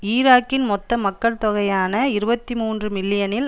ஈராக்கின் மொத்த மக்கட் தொகையான இருபத்தி மூன்று மில்லியனில்